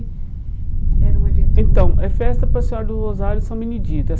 Era um evento... Então, é festa para a Senhora dos Rosários e São Benedito.